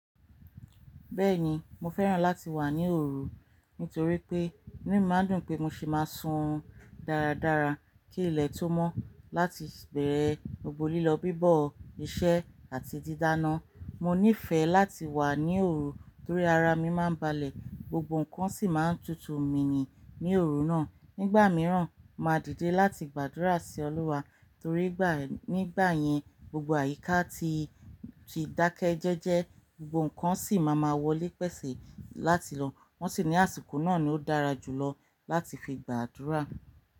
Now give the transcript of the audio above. Bẹ́ẹ̀ni, mo fẹ́ràn láti wà ní òru nítorí pé inú mi máa ń dùn pé mo sì máa sun dáradára kí ilẹ̀ tó mọ́ láti gbẹ̀rẹ̀ ogbo lílọ bíbọ̀, iṣẹ́ àti dídáná. Mo nífẹ̀ẹ́ láti wà ní òru torí ara mi máa ń balẹ̀, gbogbo nǹkan sì máa ń tutù mí ní òru náà. Nígbà mìíràn, máa dìde láti gbàdúrà sí Olúwa torí ni nígbà yẹn gbogbo àyíká ati dákẹ́ jẹ́jẹ́, gbogbo nǹkan sì máa ma wọlé pẹ̀sẹ̀ láti lọ. Wọ́n sì ní àsìkò náà ló dára jù lọ láti fi gbàdúrà.